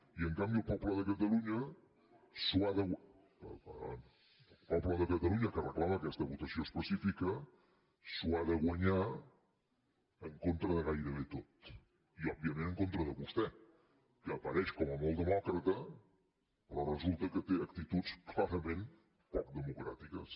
i en canvi el poble de catalunya el poble de catalunya que reclama que aquesta votació específica s’ho ha de guanyar en contra de gairebé tot i òbviament en contra de vostè que apareix com a molt demòcrata però resulta que té actituds clarament poc democràtiques